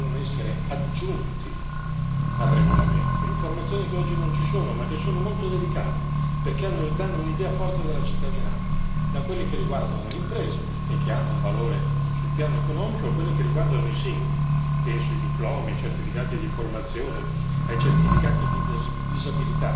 Ci sono ulteriori elementi che devono essere aggiunti al regolamento, informazioni che oggi non ci sono, ma che sono molto delicate perché danno un'idea forte della cittadinanza, da quelle che riguardano le imprese, e che hanno un valore sul piano economico, a quelle che riguardano i singoli, penso ai diplomi, ai certificati di formazione,